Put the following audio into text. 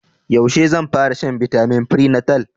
Yaushe zan fara shan bitamin prenatal?